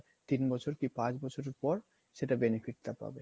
তিন বছর বা পাঁচ বছর পর সেটার benefit টা পাবে